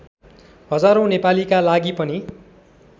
हजारौं नेपालीका लागि पनि